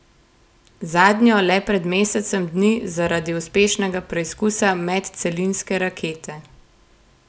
Zadnjo le pred mesecem dni zaradi uspešnega preizkusa medcelinske rakete.